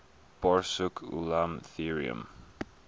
borsuk ulam theorem